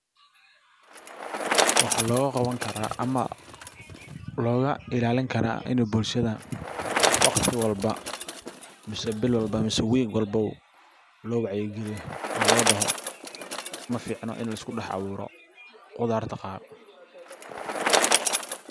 Waxaa looga qaban kara ama looga ilaalin kara ini bulshada waqti walba mise bil walba mise week walbow loo wacyi galiyo oo loo daho maficno in la isku dax abuuro qudarta qaar.